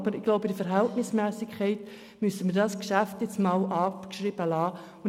Aber im Sinne der Verhältnismässigkeit müssen wir dieses Geschäft abgeschrieben lassen.